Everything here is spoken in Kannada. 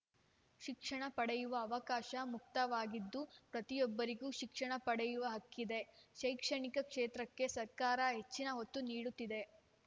ಶಿಕ್ಷಣ ಪಡೆಯುವ ಅವಕಾಶ ಮುಕ್ತವಾಗಿದ್ದು ಪ್ರತಿಯೊಬ್ಬರಿಗೂ ಶಿಕ್ಷಣ ಪಡೆಯುವ ಹಕ್ಕಿದೆ ಶೈಕ್ಷಣಿಕ ಕ್ಷೇತ್ರಕ್ಕೆ ಸರ್ಕಾರ ಹೆಚ್ಚಿನ ಒತ್ತು ನೀಡುತ್ತಿದೆ